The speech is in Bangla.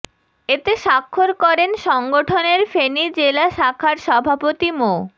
এতে স্বাক্ষর করেন সংগঠনের ফেনী জেলা শাখার সভাপতি মো